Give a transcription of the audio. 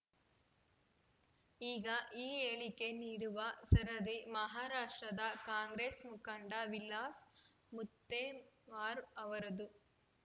ಈಗ ಈ ಹೇಳಿಕೆ ನೀಡುವ ಸರದಿ ಮಹಾರಾಷ್ಟ್ರದ ಕಾಂಗ್ರೆಸ್‌ ಮುಖಂಡ ವಿಲಾಸ್‌ ಮುತ್ತೆಮರ್ ಅವರದ್ದು